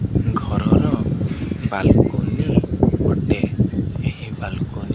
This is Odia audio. ଘରର ବାଲକୁନି ଗୋଟେ ଏହି ବାଲକନି --